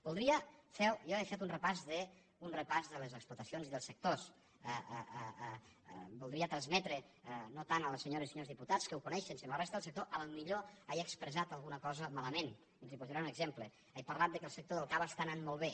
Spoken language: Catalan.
jo he fet un repàs de les explotacions i dels sectors voldria transmetre no tant a les senyores i senyors diputats que ho coneixen sinó a la resta del sector potser he expressat alguna cosa malament els posaré un exemple he parlat que el sector del cava està anant molt bé